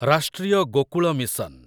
Rashtriya Gokul mission